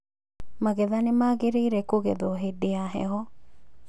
Magetha nĩ magĩrĩire kũgethwo hĩndĩ ya heho